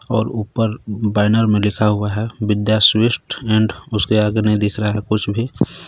और ऊपर बैनर में लिखा हुआ है विद्या स्वीट्स ऐंड उसके आगे नहीं दिख रहा है कुछ भी.